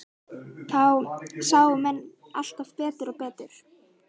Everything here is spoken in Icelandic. Það sáu menn alltaf betur og betur.